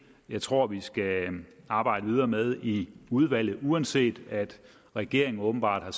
jeg tror vi skal arbejde videre med i udvalget uanset at regeringen åbenbart har